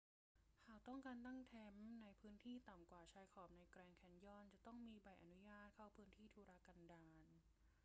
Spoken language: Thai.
หากต้องการตั้งแคมป์ในพื้นที่ต่ำกว่าชายขอบในแกรนด์แคนยอนจะต้องมีใบอนุญาตเข้าพื้นที่ทุรกันดาร